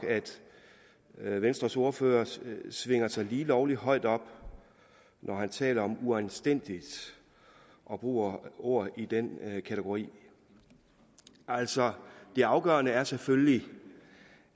at venstres ordfører svinger sig lige lovlig højt op når han taler om uanstændigt og bruger ord i den kategori altså det afgørende er selvfølgelig